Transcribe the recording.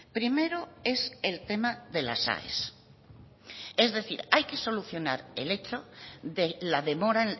primero es el tema de las aes es decir hay que solucionar el hecho de la demora